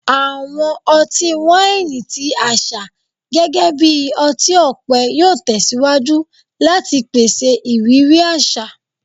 Awọn ọti-waini ti aṣa gẹgẹbi ọti-ọpẹ yoo tẹsiwaju lati pese iriri aṣa